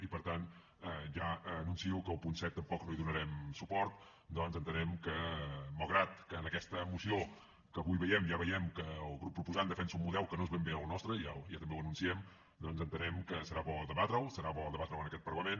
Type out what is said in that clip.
i per tant ja anuncio que al punt set tampoc no hi donarem suport ja que entenem que malgrat que en aquesta moció que avui veiem ja veiem que el grup proposant defensa un model que no és ben bé el nostre i ja també ho anunciem doncs entenem que serà bo debatre’l serà bo debatre’l en aquest parlament